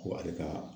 Ko ale ka